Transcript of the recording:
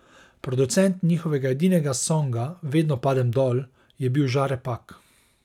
Producent njihovega edinega songa Vedno padem dol je bil Žare Pak.